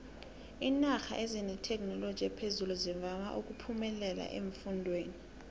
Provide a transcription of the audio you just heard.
iinarha ezinethekhinoloji ephezulu zivama uphemelela eemfundeni